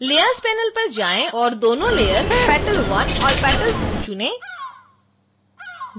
layers panel पर जाएं और दोनों लेयर petal_1 और petal_2 चुनें